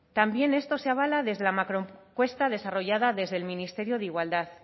también esto se avala desde la macroencuesta desarrollada desde el ministerio de igualdad